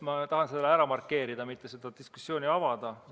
Ma tahan selle ära markeerida, et mitte seda diskussiooni avada.